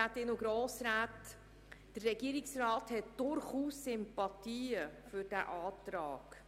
Der Regierungsrat hat durchaus Sympathien für diesen Antrag.